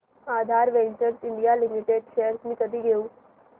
आधार ventures India limited shares मी कधी घेऊ